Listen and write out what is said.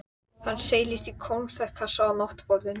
Sjálfur svaf ég einmana svefni, útskúfaður úr ástarlandi.